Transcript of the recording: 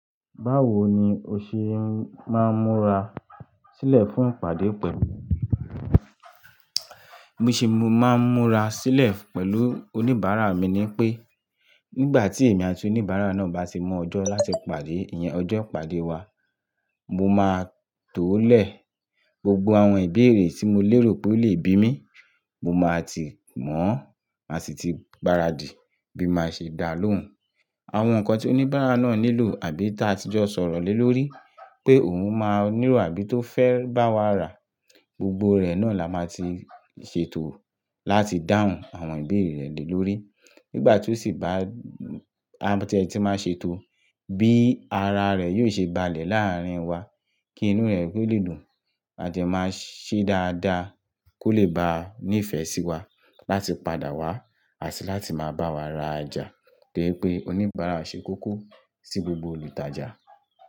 Báwo ni o ṣe máa ń múra sílẹ̀ fún ìpàdé pẹ̀lú oníbàárà? Mi ò ṣe máa ń múra sílẹ̀ pẹ̀lú oníbàárà mi ní pé nígbà tí èmi àti oníbàárà náà bá ti mọ ọjọ́ láti pàdé, ìyẹn ọjọ́ ìpàdé wa, mo máa tó lẹ̀ gbogbo àwọn ìbéèrè tí mo lérò pé ó lè bí mí, mo máa ti mọ̀ ó, a sì ti gbáradì bí maṣe dá lóhùn. Àwọn nǹkan tí oníbàárà náà nílò àbí tí a ti jọ sọ̀rọ̀ lé lórí pé òun máa nílò àbí tó fẹ́ bá wa rà gbogbo rẹ̀ náà la máa ti ṣètò láti dáhùn àwọn ìbéèrè rẹ̀ lé lórí. Nígbà tí ó sì bá, tí ẹ ti máa ń ṣètò bí ara rẹ̀ yóò ṣe balẹ̀ láàrín wa kí inú rẹ̀ kó lè dùn àti máa ṣe dáadáa kó lè bá a nífẹ̀ẹ́ sí wa láti padà wá àti láti máa bá wa rajà to je pe oníbàárà ṣe koko sí gbogbo olùtajà.